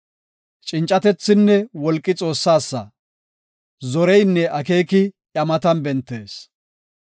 Cincatethinne wolqi Xoossasa; zoreynne akeeki iya matan bentees.